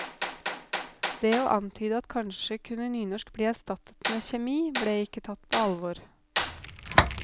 Det å antyde at kanskje kunne nynorsk bli erstattet med kjemi, ble ikke tatt på alvor.